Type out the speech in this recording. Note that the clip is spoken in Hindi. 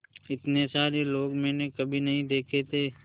इतने सारे लोग मैंने कभी नहीं देखे थे